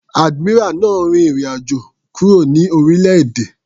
Admiral náà rin ìrìn àjò kúrò ní orílẹ̀-èdè.